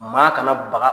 Maa kana baga